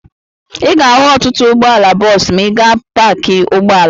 Ị ga-ahụ ọtụtụ ụgbọala bọọsụ ma ị gaa paakị ụgbọala.